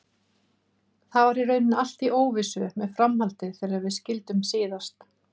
Það var í rauninni allt í óvissu með framhaldið þegar við skildum síðast.